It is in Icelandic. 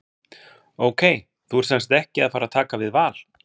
Ok, þú ert semsagt ekki að fara að taka við Val?